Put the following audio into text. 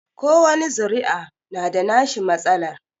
Kowani zuri'a na da nashi matsalar